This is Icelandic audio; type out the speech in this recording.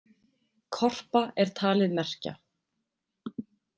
Korpa er talið merkja.